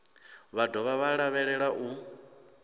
vha dovha vha lavhelelwa u